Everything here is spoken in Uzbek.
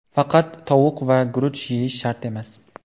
Faqat tovuq va guruch yeyish shart emas.